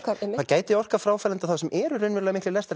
það gæti orkað fráhrindandi á þá sem eru miklir